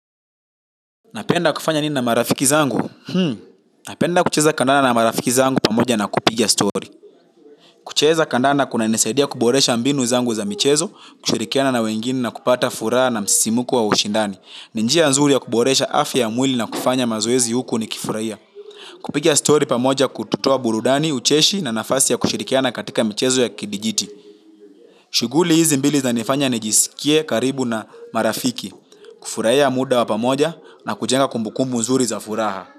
Napenda kufanya nini na marafiki wangu? Hmm, napenda kucheza kandanda na marafiki wangu pamoja na kupiga stori. Kucheza kandanda kunanisaidia kuboresha mbinu zangu za michezo, kushirikiana na wengine na kupata furaha na msisimko wa ushindani. Ni njia nzuri ya kuboresha afya ya mwili na kufanya mazoezi huku nikifurahia. Kupiga stori pamoja kututoa burudani, ucheshi na nafasi ya kushirikiana katika michezo ya kidijiti. Shughuli hizi mbili zinanifanya nijiskie karibu na marafiki, kufurahia muda wa pamoja na kujenga kumbukumbu nzuri za furaha.